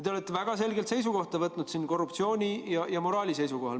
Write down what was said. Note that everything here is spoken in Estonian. Te olete väga selgelt võtnud seisukoha korruptsiooni ja moraali küsimuses.